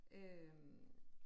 Øh